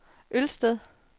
Ølsted